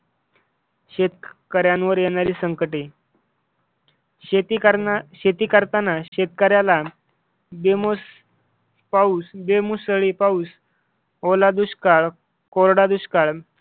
शेतकऱ्यांवर येणारी संकट शेती करताना शेतकऱ्याला बे मुसळी पाऊस, ओला दुष्काळ, कोरडा दुष्काळ